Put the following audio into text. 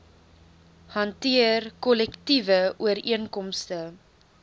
hanteer kollektiewe ooreenkomste